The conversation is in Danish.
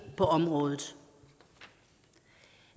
på området